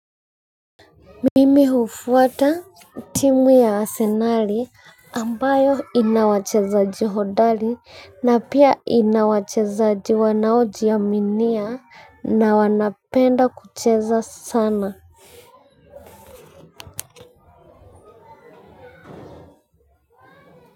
Mimi hufuata timu ya Asenali ambayo inawachezaji hodari na pia inawachezaji wanaojiaminia na wanapenda kucheza sana.